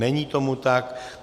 Není tomu tak.